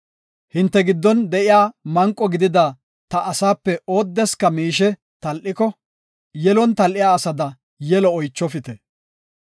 “Hinte giddon de7iya manqo gidida ta asaape oodeska miishe tal7iko, yelon tal7iya asada yelo oychofite.